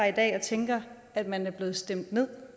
i dag og tænker at man er blevet stemt